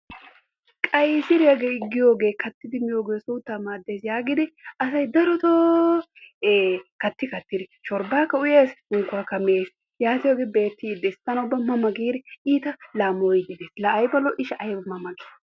Qayssiriya giyooge kattidi miyooge suuttaa maadees giidi asay daroto ee katti kattidi shorbaakka uyees, unkkuwakka mees, yaatiyoge beetees tana ubba mama giidi ita lamoyii, laa ayba lo'ii? ayba mama gii